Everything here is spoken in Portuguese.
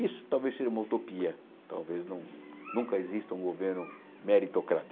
Isso talvez seja uma utopia, talvez não nunca exista um governo meritocrata.